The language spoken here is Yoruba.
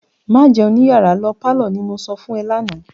"Má jẹun ní yàrá, lo pálọ̀," ni mo sọ fún ẹ lánàá.